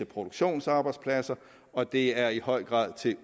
produktionsarbejdspladser og det er i høj grad til